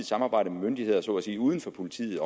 samarbejde med myndigheder så at sige uden for politiet